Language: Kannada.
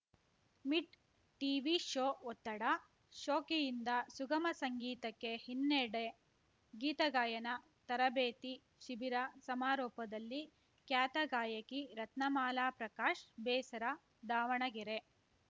ಮಿಡ್ ಟೀವಿ ಶೋ ಒತ್ತಡ ಶೋಕಿಯಿಂದ ಸುಗಮ ಸಂಗೀತಕ್ಕೆ ಹಿನ್ನಡೆ ಗೀತ ಗಾಯನ ತರಬೇತಿ ಶಿಬಿರ ಸಮಾರೋಪದಲ್ಲಿ ಖ್ಯಾತ ಗಾಯಕಿ ರತ್ನಮಾಲಾ ಪ್ರಕಾಶ್‌ ಬೇಸರ ದಾವಣಗೆರೆ